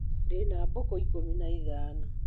Ndĩna mbũkũ ikũmi na ithano.